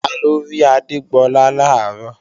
Taló rí Adégbọlá làárọ̀?